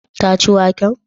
Ta ci waken?